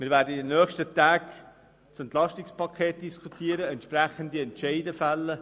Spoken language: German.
Wir werden in den nächsten Tagen das Entlastungspaket (EP) 2018 diskutieren und entsprechende Entscheide fällen.